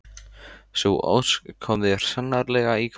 Sú ósk kom þér sannarlega í koll.